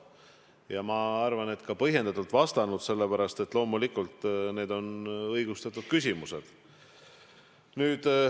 Ja ma arvan, et olen ka põhjendatult vastanud, sellepärast, et loomulikult on need õigustatud küsimused.